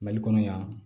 Mali kɔnɔ yan